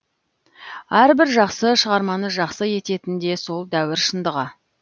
әрбір жақсы шығарманы жақсы ететін де сол дәуір шындығы